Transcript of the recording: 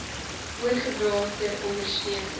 oorgedra ter ondersteuning